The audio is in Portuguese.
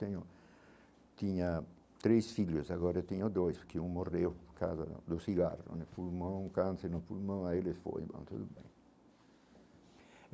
Tenho tinha três filhos, agora eu tenho dois, porque um morreu por causa do cigarro né fumou um câncer no pulmão aí ele foi bom tudo bem.